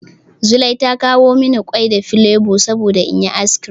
Zulai ta kawo mani ƙwai da filebo saboda in yi ice cream.